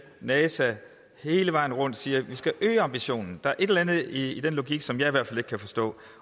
at nasa at man hele vejen rundt siger at vi skal øge ambitionen der er et eller andet i den logik som jeg i hvert fald ikke kan forstå